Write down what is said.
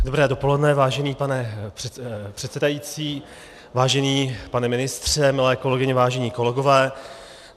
Dobré dopoledne, vážený pane předsedající, vážený pane ministře, milé kolegyně, vážení kolegové.